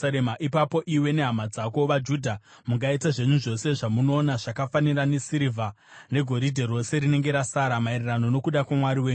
Ipapo iwe nehama dzako vaJudha mungaita zvenyu zvose zvamunoona zvakafanira nesirivha negoridhe rose rinenge rasara maererano nokuda kwaMwari wenyu.